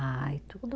Ai, tudo